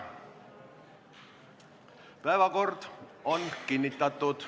Päevakord on kinnitatud.